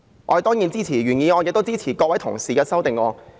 我當然支持原議案和各位同事的修正案。